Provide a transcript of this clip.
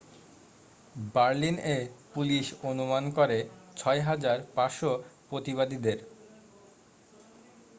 বার্লিন-এ পুলিশ অনুমান করে 6,500 প্রতিবাদীদের